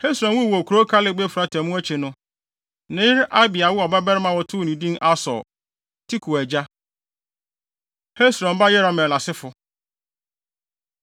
Hesron wuu wɔ kurow Kaleb-Efrata mu akyi no, ne yere Abia woo ɔbabarima a wɔtoo no din Asur (Tekoa agya). Hesron Ba Yerahmeel Asefo